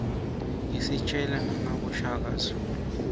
isitjela nangaboshaka zulu